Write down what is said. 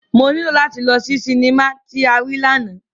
Mo nilo lati lọ si sinima ti a rii làná.